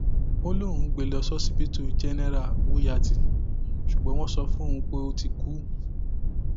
ó lóun gbé e lọ ṣíṣíbítù jẹnẹra wúyàtì ṣùgbọn wọn sọ fóun pé ó ti kú